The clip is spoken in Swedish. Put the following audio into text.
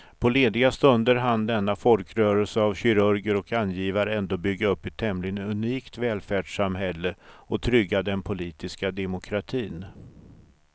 På lediga stunder hann denna folkrörelse av kirurger och angivare ändå bygga upp ett tämligen unikt välfärdssamhälle och trygga den politiska demokratin.